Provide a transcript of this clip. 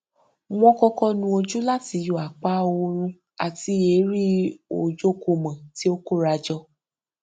wọn kọkọ nu ojú láti yọ àpá oòrùn àti èérí ojookúmọ tí ó kórajọ